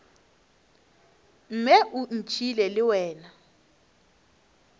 mme o ntšhiile le wena